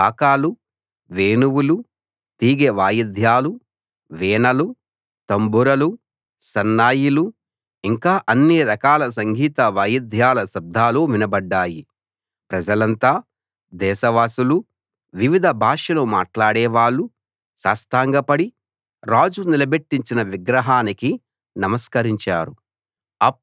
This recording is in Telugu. బాకాలు వేణువులు తీగె వాయిద్యాలు వీణలు తంబురలు సన్నాయిలు ఇంకా అన్ని రకాల సంగీత వాయిద్యాల శబ్దాలు వినబడ్డాయి ప్రజలంతా దేశవాసులు వివిధ భాషలు మాట్లాడేవాళ్లు సాష్టాంగపడి రాజు నిలబెట్టించిన విగ్రహానికి నమస్కరించారు